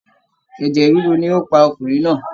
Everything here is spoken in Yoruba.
Ẹ̀jẹ̀ ríru ni ó pa ọkùnrin náà